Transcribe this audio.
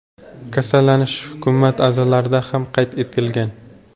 Kasallanish hukumat a’zolarida ham qayd etilgan.